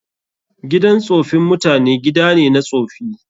Gidan tsofin mutane gida ne na tsofi.